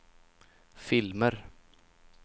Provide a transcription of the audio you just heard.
filmer